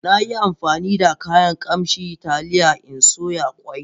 Na yi amfani da kayan kamshin taliya in soya ƙwai.